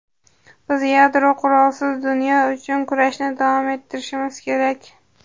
Biz yadro qurolisiz dunyo uchun kurashni davom ettirishimiz kerak.